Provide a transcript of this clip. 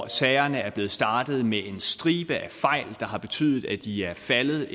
sagerne er blevet startet med en stribe fejl der har betydet at de er faldet og